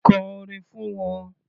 Kọ orin fún wọn.